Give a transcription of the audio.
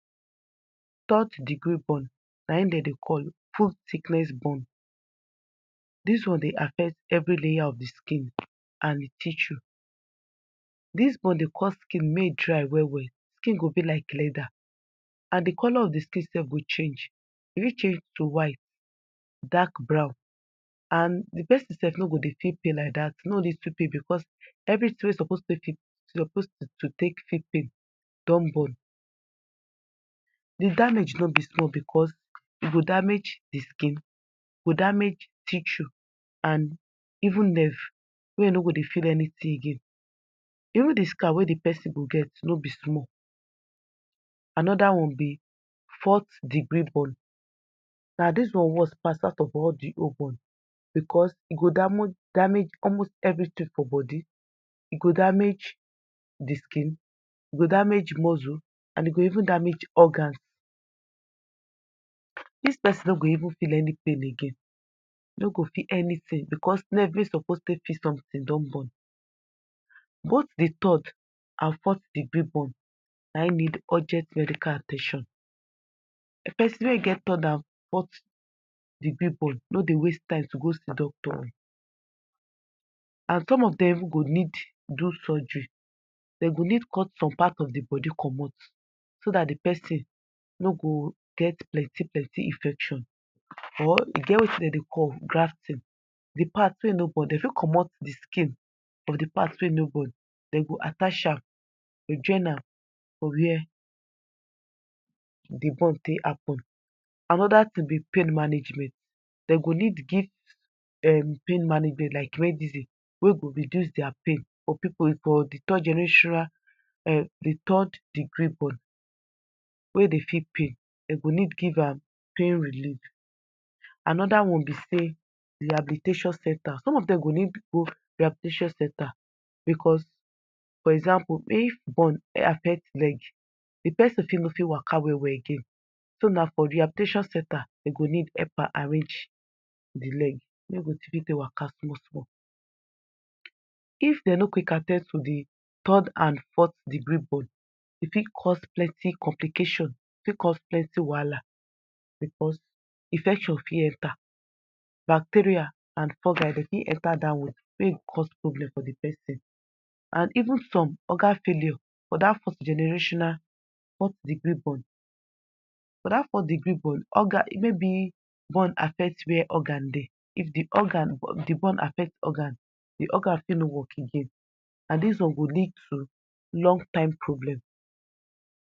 Third degree burn, na e dem dey call full thickness burn, dis one dey affect every layer of di skin and di tissue, dis burn Dey cause skin may e dry well well, si skin go bi like leather and di color of di skin self go change, e fit change to white, dark brown and di person self no go dey fill pain like day because everything wey e suppose feel pain din burn, damage no bi small because e go damage di skin, go damage tissue and even nerve may e no go dey feel anything again, even di scar wey di person go get, no bi small, another one bí forth degree burn, na dis one worst pass all di other burn because ẹ go damoge, damage almost everything for body, e go damage di skin, damage muscle, e go even damage organ, dis person no go even feel any pain again, no go feel anything because nerve wey suppose take feel something don burn, both di third and forth degree burn na e need urgent medical at ten tion, person wey get third and forth degree of burn, no go waste time to go see doctor and some of dem even go need do surgery, dem go need cut some of di part of di body commot so dat di person no go get plenty plenty infection or e get wetin dem dey call grafting, di part wey no burn, dem fit commot skin of di part wey no burn dem go attach am or join am for where di burn take happen, another tin bi pain management, dem go need give um pain management like medicine wey go reduce dia pain for people wey burn for di third generatioral, um di third degree burn wey dey feel pain, dem go need give am pain relief. Another one bi say rehabilitation center, some of dem go need go rehabilitation centre because, for example if burn affect leg, di person no go fit waka well well again, so na for rehabilitation centre dem go need help am arrange di leg wey e go still fit take waka small small. If dem no quick at ten d to di third and forth degree burn, ẹ fit cos plenty complication, e fit cos plenty wahala, because infection for enter, bacteria and fungal Dey fit enter dat one make e cos problem for di person and even some organ failure under forth generational forth degree burn, but that forth degree burn organ, maybe burn affect where organ dey, di organ burn affect di organ, di organ fit no work again and dis one go lead to long time problem